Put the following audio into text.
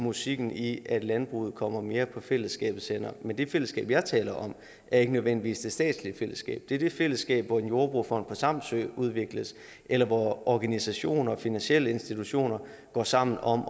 musikken i at landbruget kommer mere på fællesskabets hænder men det fællesskab jeg taler om er ikke nødvendigvis det statslige fællesskab det er det fællesskab hvor en jordbrugerfond på samsø udvikles eller hvor organisationer og finansielle institutioner går sammen om